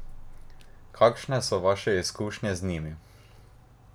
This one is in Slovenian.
Kakšne so vaše izkušnje z njimi?